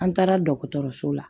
An taara dɔgɔtɔrɔso la